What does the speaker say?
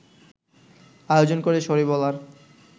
আয়োজন করে সরি বলার